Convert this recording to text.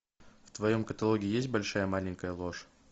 в твоем каталоге есть большая маленькая ложь